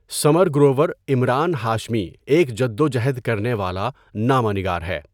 ثمر گروور عمران ہاشمی ایک جدوجہد کرنے والا نامہ نگار ہے.